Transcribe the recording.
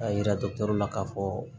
A yira dɔgɔtɔrɔ la k'a fɔ